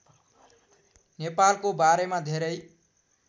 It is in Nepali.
नेपालको बारेमा धेरै